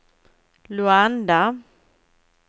Luanda